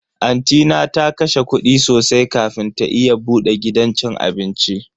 Anti na ta kashe kudi sosai kafin ta iya bude gidan cin abinci.